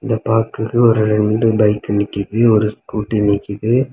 இத பாக்குற ஒரு ரெண்டு பைக்கு நிக்குது. ஒரு ஸ்கூட்டி நிக்குது.